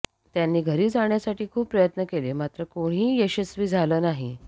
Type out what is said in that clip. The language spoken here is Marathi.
त्यांनी घरी जाण्यासाठी खूप प्रयत्न केले मात्र कोणीही यशस्वी झालं नाही